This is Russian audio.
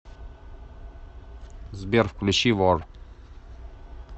сбер включи вор